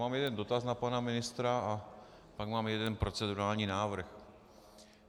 Mám jeden dotaz na pana ministra a pak mám jeden procedurální návrh.